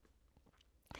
DR2